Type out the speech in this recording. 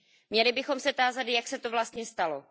Měli bychom se tázat Jak se to vlastně stalo?